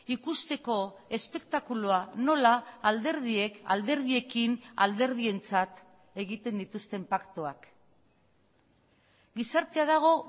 ikusteko espektakulua nola alderdiek alderdiekin alderdientzat egiten dituzten paktuak gizartea dago